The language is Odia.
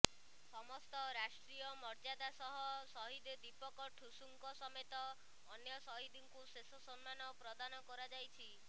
ସମସ୍ତ ରାଷ୍ଟ୍ରୀୟ ମର୍ଯ୍ୟାଦା ସହ ସହିଦ ଦୀପକ ଠୁସୁଙ୍କ ସମେତ ଅନ୍ୟ ସହିଦଙ୍କୁ ଶେଷ ସମ୍ମାନ ପ୍ରଦାନ କରାଯାଇଛି